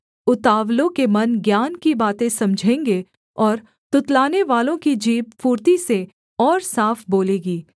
उतावलों के मन ज्ञान की बातें समझेंगे और तुतलानेवालों की जीभ फुर्ती से और साफ बोलेगी